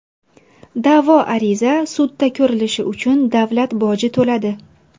Da’vo ariza sudda ko‘rilishi uchun davlat boji to‘ladi.